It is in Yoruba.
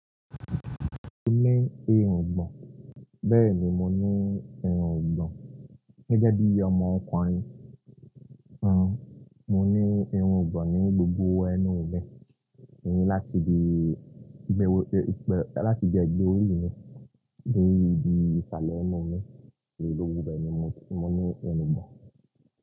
Mo ní irungbọ̀n, bẹ́ẹ̀ni mo ní irungbọ̀n. Gẹ́gẹ́ bí ọmọ ọkùnrin, nǹ mo ní irun ìgbọ̀n ní gbogbo ẹnu mi, láti ibi ẹ̀gbẹ́ orí mi dé ibi ìsàlẹ̀ ẹnu mi. Ni gbogbo bẹ́ẹ̀ ni mo ní irungbọ̀n.